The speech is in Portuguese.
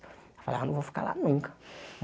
Eu falava, não vou ficar lá nunca.